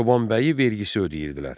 Çoban bəyi vergisi ödəyirdilər.